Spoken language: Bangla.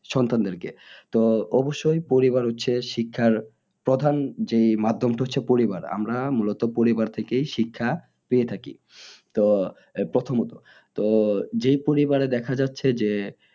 সন্তানদের কে তো অবশ্যই পরিবার হচ্ছে শিক্ষার প্রধান যে মাধ্যমটা হচ্ছে পরিবার আমরা মূলত পরিবার থেকেই শিক্ষা পেয়ে থাকি তো প্রথমত তো যে পরিবারে দেখা যাচ্ছে যে